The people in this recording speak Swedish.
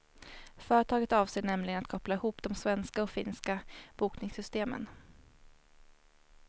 Företaget avser nämligen att koppla ihop de svenska och finska bokningssystemen.